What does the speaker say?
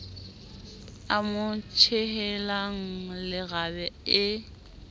a mo tjhehelang leraba e